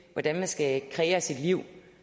hvordan man skal kreere sit liv